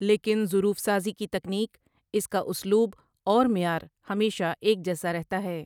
لیکن ظروف سازی کی تیکنک اس کا اسلوب اور معیار ہمیشہ ایک جیسا رہتا ہے ۔